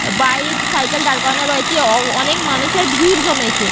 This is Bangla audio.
বাইক সাইকেল দাঁড় করানো রয়েছে। অ অনেক মানুষের ভিড় জমেছে।